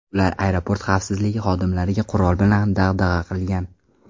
Ular aeroport xavfsizlik xodimlariga qurol bilan dag‘dag‘a qilgan.